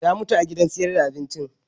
Ta mutu a gidan sayar da abincin